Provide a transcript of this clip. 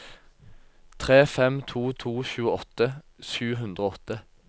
tre fem to to tjueåtte sju hundre og åtte